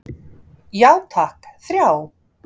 Já takk, þrjá.